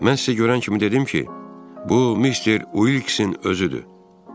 Mən sizə görən kimi dedim ki, bu mister Uiksin özü idi.